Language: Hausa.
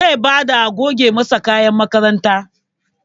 Zai bada a goge masa kayan makaranta